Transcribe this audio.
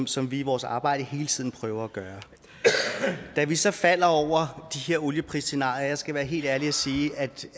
som vi i vores arbejde hele tiden prøver at gøre da vi så faldt over de her olieprisscenarier skal være helt ærlig og sige